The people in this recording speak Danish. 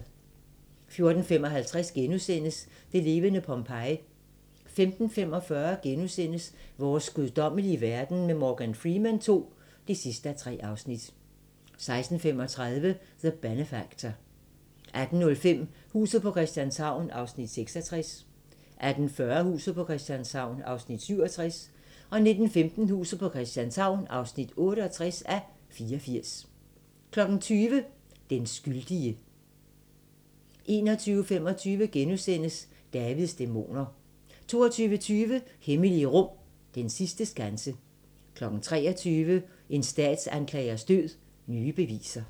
14:55: Det levende Pompeji * 15:45: Vores guddommelige verden med Morgan Freeman II (3:3)* 16:35: The Benefactor 18:05: Huset på Christianshavn (66:84) 18:40: Huset på Christianshavn (67:84) 19:15: Huset på Christianshavn (68:84) 20:00: Den skyldige 21:25: Davids dæmoner * 22:20: Hemmelige rum: Den sidste skanse 23:00: En statsanklagers død: Nye beviser